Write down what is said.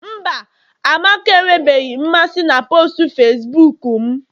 mba, amaka enwebeghị mmasị na postu Facibuku m